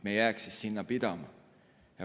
Me ei jääks sinna pidama.